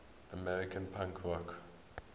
american punk rock